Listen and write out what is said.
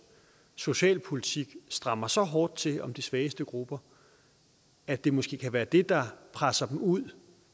socialpolitik strammer så hårdt til om de svageste grupper at det måske kan være det der presser dem ud